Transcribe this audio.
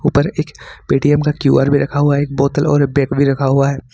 ऊपर एक पेटीएम का क्यू_आर भी रखा हुआ है एक बोतल और बैग भी रखा हुआ है।